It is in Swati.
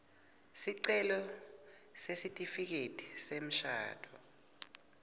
sicelo sesitifiketi semshado